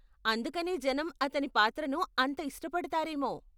అందుకనే జనం అతని పాత్రను అంత ఇష్టపడతారేమో.